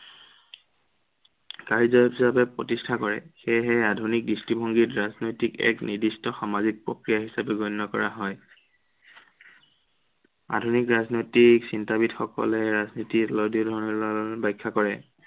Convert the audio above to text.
কাৰ্য হিচাপে প্ৰতিষ্ঠা কৰে। সেয়েহে আধুনিক দৃষ্টিভংগীত ৰাজনৈতিক এক নিৰ্দিষ্ট সামাজিক প্ৰক্ৰিয়া হিচাপে গণ্য় কৰা হয়। আধুনিক ৰাজনৈতিক চিন্তাবীদসকলে ৰাজনীতিক প্ৰতিষ্ঠা কৰে।